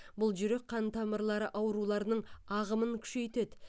бұл жүрек қан тамырлары ауруларының ағымын күшейтеді